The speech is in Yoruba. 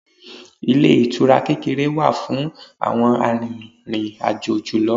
Ilé ìtura kékeré wà fún àwọn arìnrìn-àjò julọ.